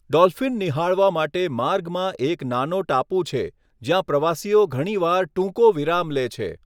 Dolphin નિહાળવા માટે માર્ગમાં એક નાનો ટાપુ છે, જ્યાં પ્રવાસીઓ ઘણીવાર ટૂંકો વિરામ લે છે.